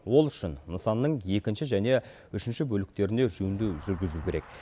ол үшін нысанның екінші және үшінші бөліктеріне жөндеу жүргізу керек